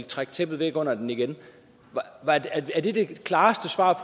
trække tæppet væk under den igen er det det klareste svar